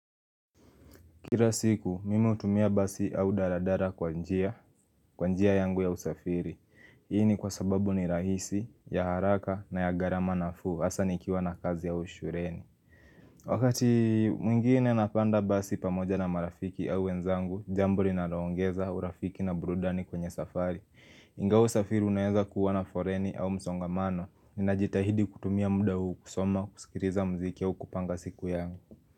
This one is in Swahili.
Kila siku, mimi hutumia basi au daladala kwa njia, kwa njia yangu ya usafiri. Hii ni kwa sababu ni rahisi, ya haraka na ya gharama nafuu, hasa nikiwa na kazi ya au shuleni. Wakati mwingine napanda basi pamoja na marafiki au wenzangu, jambo linaloongeza urafiki na burudani kwenye safari. Ingaaa usafiri unaeza kuwa na foleni au msongamano, ninajitahidi kutumia muda huu kusoma kusikiliza muziki huu kupanga siku yangu.